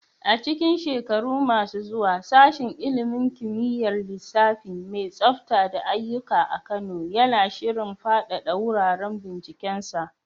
A cikin shekaru masu zuwa, Sashen ilimin kimiyyar lissafi mai tsafta da aiyuka a Kano yana shirin fadada wuraren bincikensa.